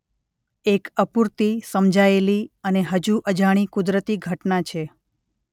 એક અપૂરતી સમજાયેલી અને હજુ અજાણી કુદરતી ઘટના છે